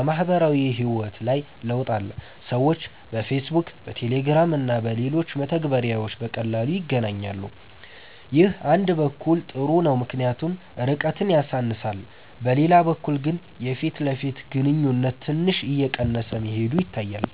በማህበራዊ ህይወት ላይ ለውጥ አለ። ሰዎች በፌስቡክ፣ በቴሌግራም እና በሌሎች መተግበሪያዎች በቀላሉ ይገናኛሉ። ይህ አንድ በኩል ጥሩ ነው ምክንያቱም ርቀትን ያሳንሳል፤ በሌላ በኩል ግን የፊት ለፊት ግንኙነት ትንሽ እየቀነሰ መሄዱ ይታያል።